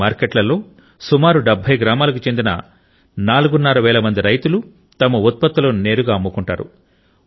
ఈ మార్కెట్లలో సుమారు 70 గ్రామాలకు చెందిన సుమారు నాలుగున్నర వేల మంది రైతులు తమ ఉత్పత్తులను నేరుగా అమ్ముకుంటారు